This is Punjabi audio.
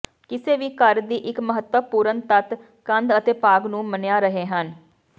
ਕਿਸੇ ਵੀ ਘਰ ਦੀ ਇੱਕ ਮਹੱਤਵਪੂਰਨ ਤੱਤ ਕੰਧ ਅਤੇ ਭਾਗ ਨੂੰ ਮੰਨਿਆ ਰਹੇ ਹਨ